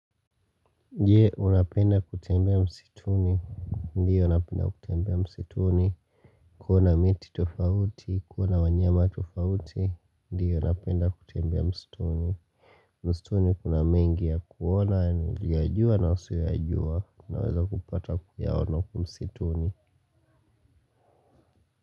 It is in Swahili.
Je, unapenda kutembea msituni? Ndiyo napenda kutembea msituni. Kuona miti tofauti. Kuona wanyama tofauti. Ndiyo unapenda kutembea msituni. Msituni kuna mengi ya kuona niliyojua na usiyoyajua. Naweza kupata kuyaona huku msituni.